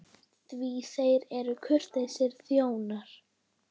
Því þeir eru kurteis þjóð.